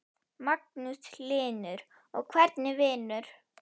Magnús Hlynur: Og hvernig vinur?